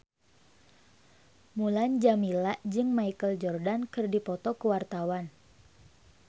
Mulan Jameela jeung Michael Jordan keur dipoto ku wartawan